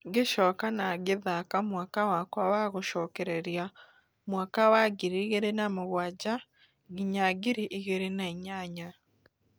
ngĩcoka na ngĩthaka mwaka wakwa wa gũcokereria mwaka wa ngiri igĩrĩ na mũgwanja nginya ngiri igĩrĩ na inyanya.